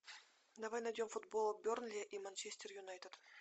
давай найдем футбол бернли и манчестер юнайтед